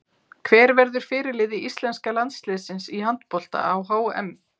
Hver verður fyrirliði íslenska landsliðsins í handbolta á HM?